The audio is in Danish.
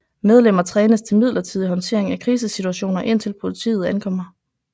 Medlemmer trænes til midlertidig håndtering af krisesituationer indtil politiet ankommer